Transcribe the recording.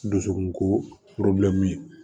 Dusukun ko